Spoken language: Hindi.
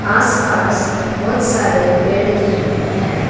आस पास बहोत सारे पेड़ दिख रहे हैं।